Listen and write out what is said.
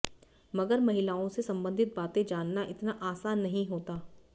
मगर महिलाओं से संबंधित बाते जानना इतना आसान नहीं होता